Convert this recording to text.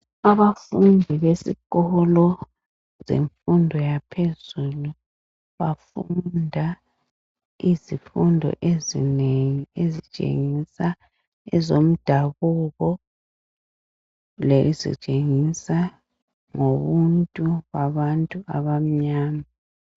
Abafundi besikolo zemfundo yaphezulu bafunda izifundo ezinengi ezitshengisa ezomdabuko lezitshengisa ngobuntu babantu abamnyama.